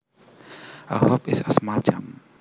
A hop is a small jump